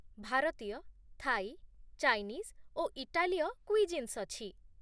ଭାରତୀୟ, Thai, Chinese ଓ ଇଟାଲୀୟ କୁଇଜିନ୍ସ ଅଛି।